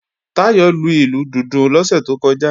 Táyọ̀ lu ìlù dùndún lọ́sẹ̀ tó kọjá